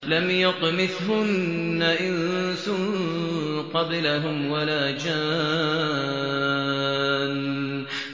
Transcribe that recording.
لَمْ يَطْمِثْهُنَّ إِنسٌ قَبْلَهُمْ وَلَا جَانٌّ